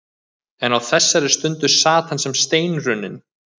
En á þessari stundu sat hann sem steinrunninn.